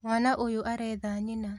Mwana ũyũ aretha nyina